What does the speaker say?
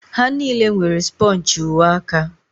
Ha niile nwere spọnchị uwe aka.